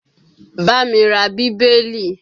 Bá mi ra Bíbélì!